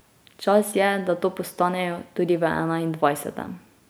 Čas je, da to postanejo tudi v enaindvajsetem.